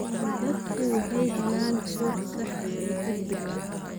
Dadku waxay helaan xog sax ah oo degdeg ah.